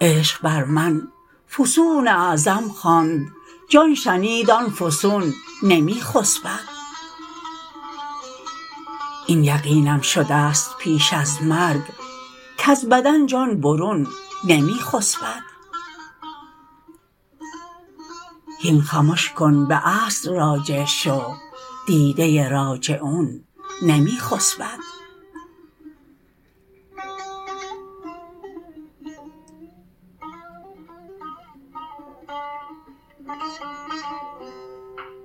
عشق بر من فسون اعظم خواند جان شنید آن فسون نمی خسبد این یقینم شدست پیش از مرگ کز بدن جان برون نمی خسبد هین خمش کن به اصل راجع شو دیده راجعون نمی خسبد